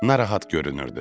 Narahat görünürdü.